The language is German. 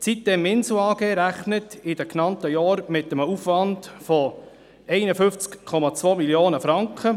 Die sitem-Insel AG rechnet in den genannten Jahren mit einem Aufwand von 51,2 Mio. Franken.